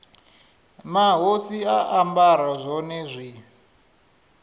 mahosi a ambara zwone zwi